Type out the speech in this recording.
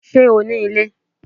Ṣé o ní ilé?